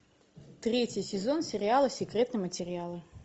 третий сезон сериала секретные материалы